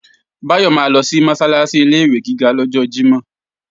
Báyọ̀ máa lọ sí Mọ́sálásí ilé-ìwé gíga lọ́jọ́ Jímọ̀